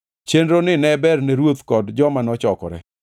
Chenroni ne berne ruoth kod joma nochokore.